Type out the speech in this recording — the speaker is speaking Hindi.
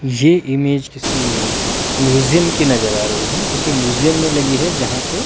ये ईमेज किसी म्यूजियम की नजर आ रही है किसी म्यूजियम में लगी है जहां